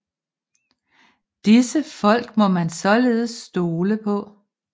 Disse folk må man således stole på